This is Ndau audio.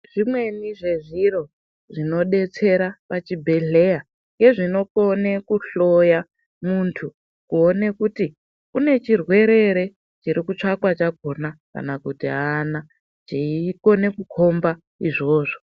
Zvimweni zve zviro zvino detsera pa chibhedhleya nge zvinokone kuhloya muntu kuone kuti une chirwere ere chiri kutsvakwa chakona kana kuti aana chei kone kukombo izvozvo.